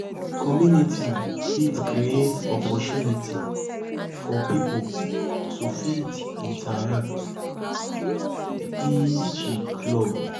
community fit create opportunity for pipo to fit interact e.g club